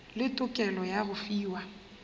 le tokelo ya go fiwa